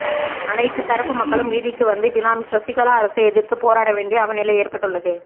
அனைத்து தரப்பு மக்களும் வீதிக்கு வந்து பினாமி சசிகலா அரசை எதிர்த்து போராடவேண்டிய அவலநிலை ஏற்பட்டுள்ளது